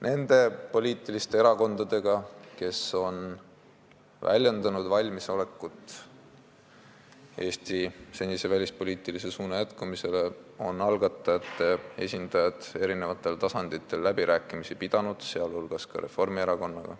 Nende poliitiliste erakondadega, kes on väljendanud valmisolekut Eesti senist välispoliitilist suunda jätkata, on algatajate esindajad eri tasanditel läbirääkimisi pidanud, sh Reformierakonnaga.